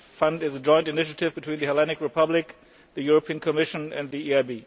The Fund is a joint initiative between the Hellenic Republic, the Commission and the EIB.